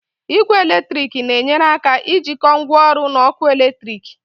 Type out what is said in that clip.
Igwe eletrik na-enyere aka jikọọ ngwaọrụ na ọkụ eletrik.